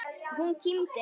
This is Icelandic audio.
Hún kímdi.